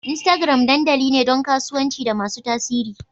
Instagram dandali ne don kasuwanci da masu tasiri.